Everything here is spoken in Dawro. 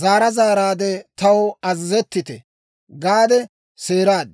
zaara zaaraadde, «Taw azazettite!» gaade seeraad.